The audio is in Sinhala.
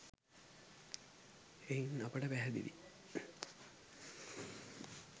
එයින් අපට පැහැදිලියි